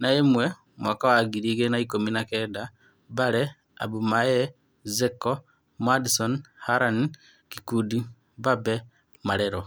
na-ũmwe mwaka wa ngiri igĩrĩ na-ikũmi na-kenda: Mbale, Abumaye, Zeko, Madison, Harani, Ngirundi, Mbabe, Marero.